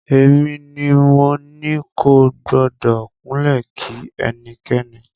Èmi ni mo ní kò gbọ́dọ̀ kúnlẹ̀ kí ẹnikẹ́ni.